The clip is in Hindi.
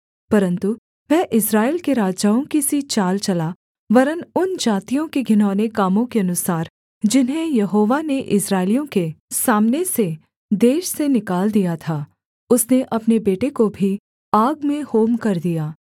परन्तु वह इस्राएल के राजाओं की सी चाल चला वरन् उन जातियों के घिनौने कामों के अनुसार जिन्हें यहोवा ने इस्राएलियों के सामने से देश से निकाल दिया था उसने अपने बेटे को भी आग में होम कर दिया